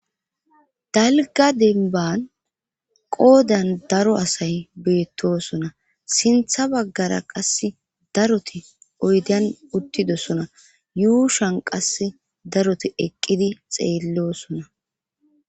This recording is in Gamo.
Dalga denban qoodan daro asay beettosona sintha baggara qass daroti oydan uttidosona yuushan qas daroti eqqidi xeellosona.